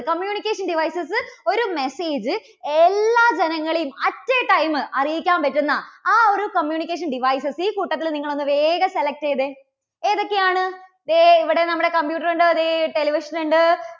communication devices ഒരു message എല്ലാ ജനങ്ങളെയും at a time അറിയിക്കാൻ പറ്റുന്ന ആ ഒരു communication devices ഈ കൂട്ടത്തിൽ നിങ്ങൾ ഒന്നു വേഗം select ചെയ്തേ. ഏതൊക്കെയാണ്? ദേ ഇവിടെ നമ്മുടെ computer ഉണ്ട്, ദേ television ഉണ്ട്.